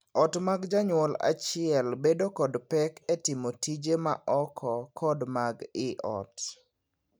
Ot mag janyuol achiel bedo kod pek e timo tije ma oko kod mag ii ot.